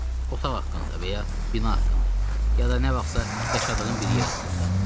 Otaq haqqında və ya bina haqqında, ya da nə vaxtsa yaşadığın bir yer haqqında.